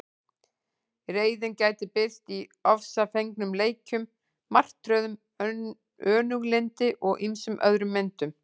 Reiðin gæti birst í ofsafengnum leikjum, martröðum, önuglyndi og ýmsum öðrum myndum.